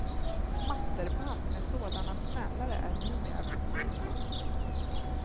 Smatterband med sådana smällare är numera förbjudna.